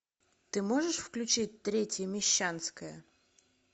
ты можешь включить третья мещанская